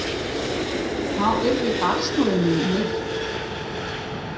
þá yrði barnsmóðir mín myrt.